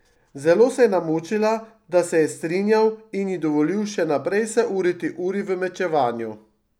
Zelo se je namučila, da se je strinjal in ji dovolil še naprej se uriti uri v mečevanju.